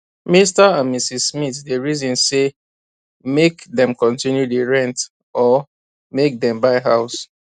mr and mrs smith dey reason say make dem continue dey rent or make dem buy house